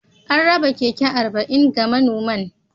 An raba keke arba'in ga manoman